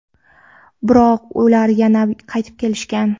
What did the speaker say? biroq ular yana qaytib kelishgan.